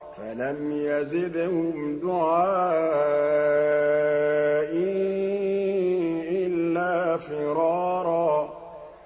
فَلَمْ يَزِدْهُمْ دُعَائِي إِلَّا فِرَارًا